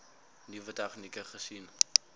nuwe tegnieke gesien